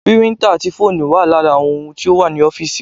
Píríntà ati fóònù wa lara àwọn ohun tí ó wà ní ọ́físì